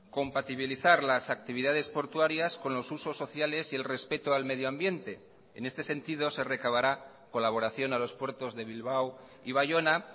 compatibilizar las actividades portuarias con los usos sociales y el respeto al medioambiente en este sentido se recabará colaboración a los puertos de bilbao y baiona